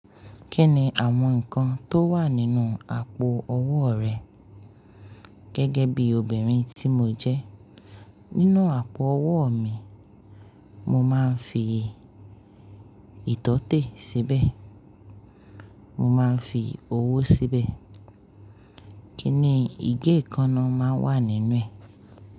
Kí ni àwọn nǹkan tó wà nínú àpò owó rẹ? Gẹ́gẹ́ bí obìnrin tí mo jẹ́, nínú àpò owó mi, mo máa ń fi ìtọ́tè síbẹ̀, mo máa ń fi owó síbẹ̀. Kíni ìgé konáà máa wà nínú ẹ̀?